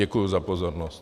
Děkuji za pozornost.